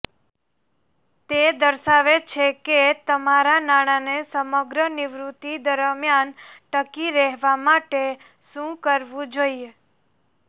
તે દર્શાવે છે કે તમારા નાણાંને સમગ્ર નિવૃત્તિ દરમિયાન ટકી રહેવા માટે શું કરવું જોઈએ